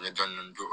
N bɛ dɔɔni dɔɔni